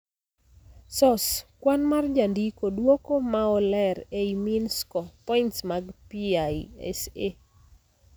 Source: kwan mar jandiko. Duoko maoleer ei mean score (points mag PISA)